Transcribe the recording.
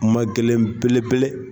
Kuma gɛlɛn belebele.